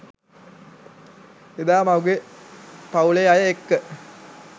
එදා මගේ පවු‍ලේ අය එක්ක